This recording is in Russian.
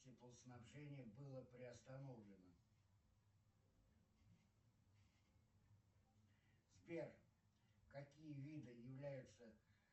теплоснабжение было приостановлено сбер какие виды являются